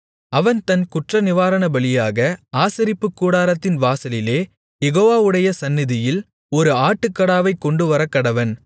அவன் தன் குற்றநிவாரணபலியாக ஆசரிப்புக்கூடாரத்தின் வாசலிலே யெகோவாவுடைய சந்நிதியில் ஒரு ஆட்டுக்கடாவைக் கொண்டுவரக்கடவன்